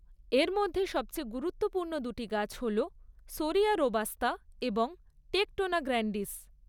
এর মধ্যে সবচেয়ে গুরুত্বপূর্ণ দুটি গাছ হল শোরিয়া রোবাস্তা এবং টেকটোনা গ্র্যান্ডিস।